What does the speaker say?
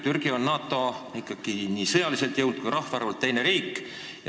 Türgi aga on NATO-s sõjaliselt jõult ja ka rahvaarvult teine riik.